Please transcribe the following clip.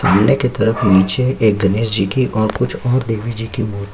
सामने की तरफ नीचे एक गणेश जी की और कुछ और देवी जी की मूर्ति--